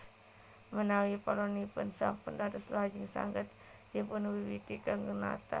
Menawi polanipun sampun dados lajeng saged dipunwiwiti kanggé natah